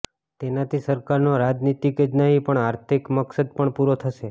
તેનાથી સરકારનો રાજનીતિક જ નહી પણ આર્થિક મકસદ પણ પુરો થશે